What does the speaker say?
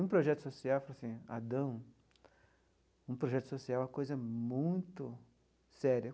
Um projeto social ele falou assim Adão um projeto social é uma coisa muito séria.